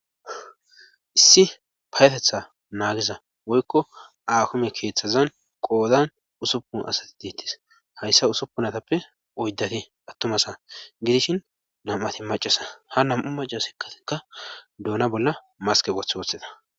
Issi payetetha naagiza woykko akume keeththazan qoodan usuppun asati diittis hayssa usuppunatappe oyddati attumasa gidishin nam'ati macasa ha nam'u maca sikkatikka duuna bolla maskepoth woththida.